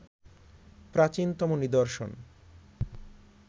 প্রাচীনতম নিদর্শন